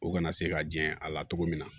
U kana se ka jɛn a la cogo min na